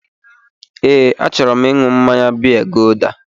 Ee, achọrọ m ịṅụ mmaya biya guuda